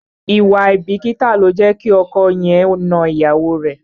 Ìwà àìbìkítà ló jẹ́ kí ọkọ yẹn na ìyàwó rẹ̀.